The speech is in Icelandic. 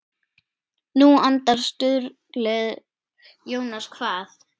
Nú andar suðrið Jónas kvað.